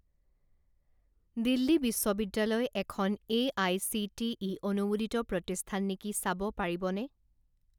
দিল্লী বিশ্ববিদ্যালয় এখন এআইচিটিই অনুমোদিত প্ৰতিষ্ঠান নেকি চাব পাৰিবনে?